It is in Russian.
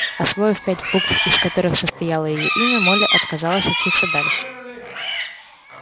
освоив пять букв из которых состояло её имя молли отказалась учиться дальше